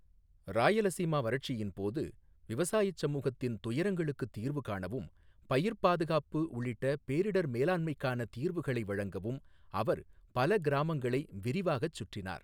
ராயலசீமா வறட்சியின் போது, விவசாயச் சமூகத்தின் துயரங்களுக்கு தீர்வு காணவும், பயிர்ப் பாதுகாப்பு உள்ளிட்ட பேரிடர் மேலாண்மைக்கான தீர்வுகளை வழங்கவும் அவர் பல கிராமங்களை விரிவாகச் சுற்றினார்.